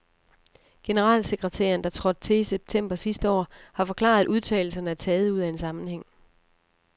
Generalsekretæren, der trådte til i september sidste år, har forklaret, at udtalelserne er taget ud af en sammenhæng.